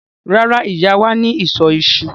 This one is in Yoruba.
Rárá, Ìyá wà ní ìsọ̀ iṣu.